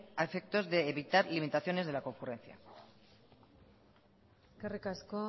a efectos de evitar limitaciones de la concurrencia eskerrik asko